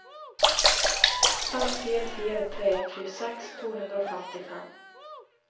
fem fire fire tre tjueseks to hundre og femtifem